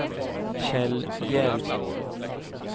Kjell Hjelm